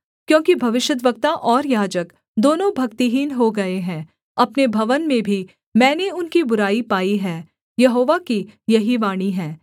क्योंकि भविष्यद्वक्ता और याजक दोनों भक्तिहीन हो गए हैं अपने भवन में भी मैंने उनकी बुराई पाई है यहोवा की यही वाणी है